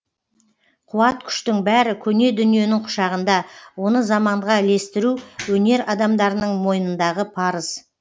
қуат күштің бәрі көне дүниенің құшағында оны заманға ілестіру өнер адамдарының мойнындағы парыз